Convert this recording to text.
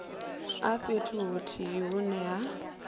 a fhethu huthihi hune ha